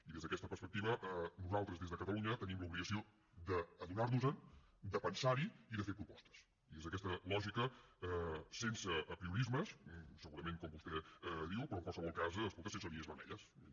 i des d’aquesta perspectiva nosaltres des de catalunya tenim l’obligació d’adonar nos en de pensar hi i de fer propostes i des d’aquesta lògica sense apriorismes segurament com vostè diu però en qualsevol cas sense línies vermelles vull dir